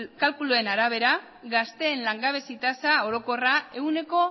kalkuluen arabera gazteen langabezi tasa orokorra ehuneko